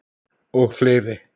Og fleiri